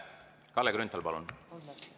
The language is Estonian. Kalle Grünthal, palun!